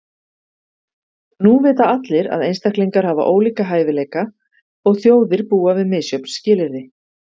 Nú vita allir, að einstaklingar hafa ólíka hæfileika, og þjóðir búa við misjöfn skilyrði.